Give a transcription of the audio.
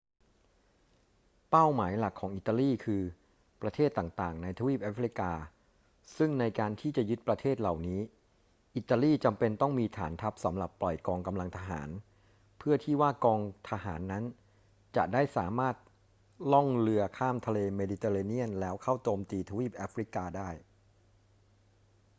เป้าหมายหลักของอิตาลีคือประเทศต่าง ๆ ในทวีปแอฟริกา ซึ่งในการที่จะยึดประเทศเหล่านี้ อิตาลีจำเป็นต้องมีฐานทัพสำหรับปล่อยกองกำลังทหาร เพื่อที่ว่ากองทหารนั้นจะได้สามารถล่องเรือข้ามทะเลเมดิเตอร์เรเนียนแล้วเข้าโจมตีทวีปแอฟริกาได้